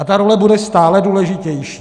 A ta role bude stále důležitější.